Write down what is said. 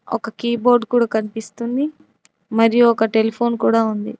ఒక keyboard కూడా కనిపిస్తుంది మరియు ఒక టెలిఫోన్ కూడా ఉంది.